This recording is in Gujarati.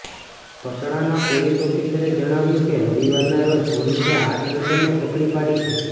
પટણાના પોલીસ ઓફિસરે જણાવ્યું કે રવિવારના રોજ પોલીસે આ ટેન્કરને પકડી પાડી છે